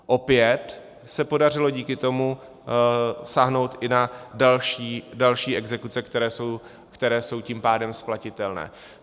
Opět se podařilo díky tomu sáhnout i na další exekuce, které jsou tím pádem splatitelné.